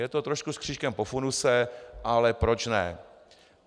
Je to trošku s křížkem po funuse, ale proč ne.